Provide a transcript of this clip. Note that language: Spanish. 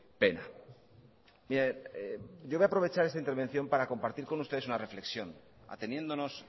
pena yo voy aprovechar esta intervención para compartir con ustedes una reflexión ateniéndonos